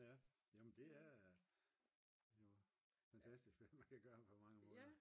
ja jamen det er jo fantastisk hvad man kan gøre på mange måder